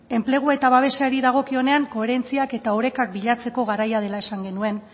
enplegua eta babesari dagokionean koherentziak eta orekak bilatzeko garaia dela esan genuen